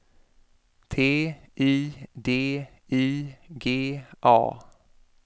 T I D I G A